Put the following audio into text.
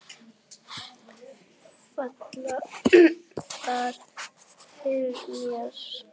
Falla þær fyrir mér?